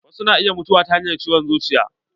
Wasu na iya mutuwa ta hanyar ciwon zuciya.